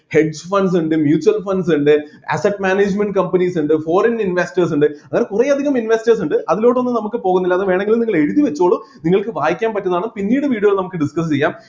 hedge funds ഇണ്ട് mutual funds ഇണ്ട് asset management companies ഇണ്ട് foreign investors ഇണ്ട് അങ്ങനെ കുറെ അധികം investors ഇണ്ട് അതിലോട്ടൊന്നും നമ്മക്ക് പോകുന്നില്ല അത് വേണമെങ്കിൽ നിങ്ങൾ എഴുതിവെച്ചോളൂ നിങ്ങൾക്ക് വായിക്കാൻ പറ്റുന്നതാണ് പിന്നീട് video ൽ നമ്മക്ക് discuss ചെയ്യാം